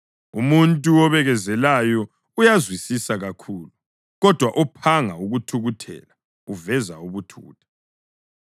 Umuntu obekezelayo uyazwisisa kakhulu, kodwa ophanga ukuthukuthela uveza ubuthutha.